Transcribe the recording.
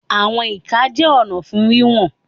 Àwọn ìka jẹ́ ọ̀nà fún wíwọ̀n.